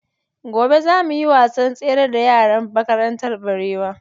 Gobe za mu yi wasan tsere da yaran makarantar Barewa.